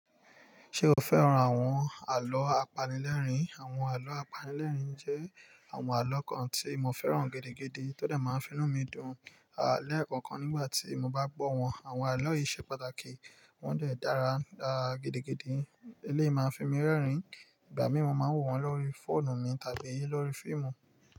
Ṣé o fẹ́ràn àwọn àlọ́ apanilẹ́rìn? Àwọn àlọ́ apanilẹ́rìn jẹ́ àwọn àlọ́ kan tí mo fẹ́ràn gidi, tó dè máa finú mi dùn lẹ́ẹ̀kan kan nígbà tí mo bá gbọ́ wọn. Àwọn àlọ́ yìí ṣe pàtàkì, wọ́n dẹ̀ dára dara gidigidi. Eléyìí máa fi mí rẹ́rìn-ín. Ìgbà mìíràn, mo máa wò wọ́n lórí fóònù mi tàbí lórí fíìmù.